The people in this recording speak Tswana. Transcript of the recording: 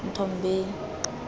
nthombeni